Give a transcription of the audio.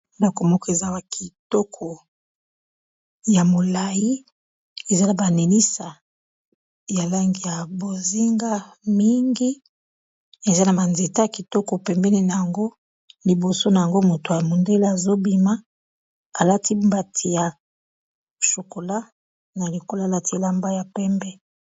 bandako moko ezala kitoko ya molai ezala banenisa ya langi ya bozinga mingi eza na banzeta a kitoko pembene na yango liboso na yango moto ya mondele azobima alati mbati ya chokola na likolo alati elamba ya pembe